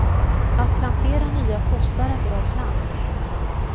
Att plantera nya kostar en bra slant.